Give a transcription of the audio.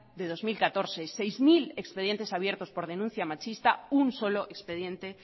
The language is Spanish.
de dos mil catorce seis mil expedientes abiertos por denuncia machista un solo expediente